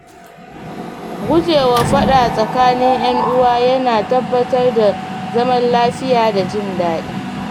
Guje wa faɗa tsakanin ‘yan'uwa yana tabbatar da zaman lafiya da jin daɗi.